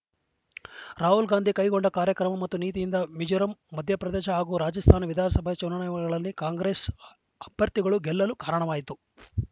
ರಾಹುಲ್‌ ಗಾಂಧಿ ಕೈಗೊಂಡ ಕಾರ್ಯಕ್ರಮ ಮತ್ತು ನೀತಿಯಿಂದ ಮಿಜೋರಾಂ ಮಧ್ಯಪ್ರದೇಶ ಹಾಗೂ ರಾಜಸ್ತಾನ ವಿಧಾನಸಭೆ ಚುನಾವಣೆಗಳಲ್ಲಿ ಕಾಂಗ್ರೆಸ್‌ ಅಭ್ಯರ್ಥಿಗಳು ಗೆಲ್ಲಲು ಕಾರಣವಾಯಿತು